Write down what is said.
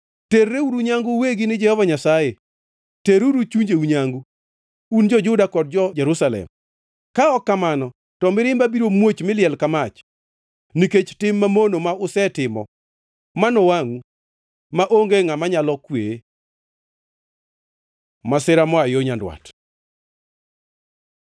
Terreuru nyangu uwegi ni Jehova Nyasaye, teruru chunjeu nyangu, un jo-Juda kod jo-Jerusalem, ka ok kamano to mirimba biro muoch mi liel ka mach, nikech tim mamono ma usetimo manowangʼu, maonge ngʼama nyalo kweye.” Masira moa yo nyandwat